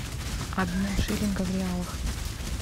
обмен шиллинга в реалах